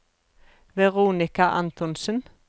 Veronica Antonsen